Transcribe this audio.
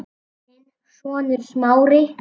Þinn sonur, Smári.